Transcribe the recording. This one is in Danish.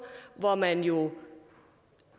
hvor man jo